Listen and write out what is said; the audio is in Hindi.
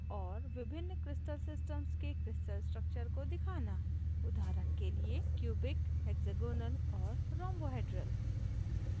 और विभिन्न crystal systems के crystal structures को दिखाना उदाहरण के लिए cubic hexagonal और rhombohedral